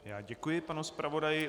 Já děkuji panu zpravodaji.